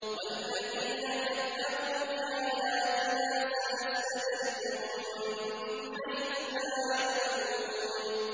وَالَّذِينَ كَذَّبُوا بِآيَاتِنَا سَنَسْتَدْرِجُهُم مِّنْ حَيْثُ لَا يَعْلَمُونَ